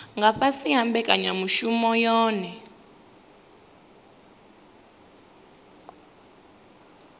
nga fhasi ha mbekanyamushumo yohe